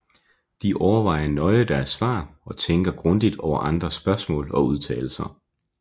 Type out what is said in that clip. De overvejer nøje deres svar og tænker grundigt over andres spørgsmål og udtalelser